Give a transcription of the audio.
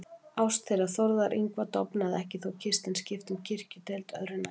Ást þeirra Þórðar Yngva dofnaði ekki þó Kirsten skipti um kirkjudeild, öðru nær.